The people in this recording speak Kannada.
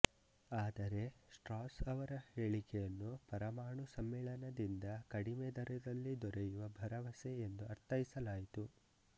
ಆದರೆ ಸ್ಟ್ರಾಸ್ ಅವರ ಹೇಳಿಕೆಯನ್ನು ಪರಮಾಣು ಸಮ್ಮಿಳನದಿಂದ ಕಡಿಮೆ ದರದಲ್ಲಿ ದೊರೆಯುವ ಭರವಸೆ ಎಂದು ಅರ್ಥೈಸಲಾಯಿತು